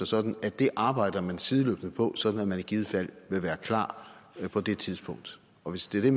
sådan at det arbejder man sideløbende på sådan at man i givet fald vil være klar på det tidspunkt og hvis det